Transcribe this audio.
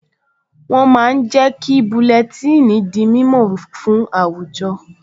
Wọ́n máa ń jẹ́ kí búlẹ́tíìnì di mímọ̀ fún àwùjọ